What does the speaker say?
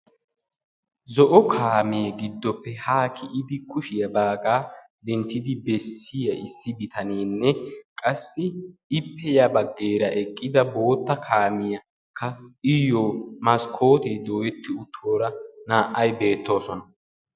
zo'o kaamee gidoppe haa kiyidi kushiyaa baagaa dentida bessiyaa bitaneenne, qassi ippe ya bageeraa eqqida bootta kaamiya qassi iyo maskoote dooyetiddo guutta kaamiya naa'ay beetawusu.